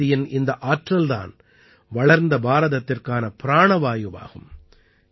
பெண்சக்தியின் இந்த ஆற்றல் தான் வளர்ந்த பாரதத்திற்கான பிராணவாயுவாகும்